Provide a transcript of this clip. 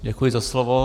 Děkuji za slovo.